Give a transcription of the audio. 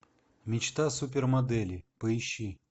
мечта супермодели поищи